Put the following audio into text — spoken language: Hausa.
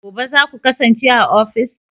Gobe ​​zaku kasance a ofis?